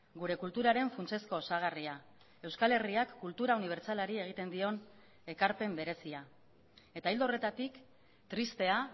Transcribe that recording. gure kulturaren funtsezko osagarria euskal herriak kultura unibertsalari egiten dion ekarpen berezia eta ildo horretatik tristea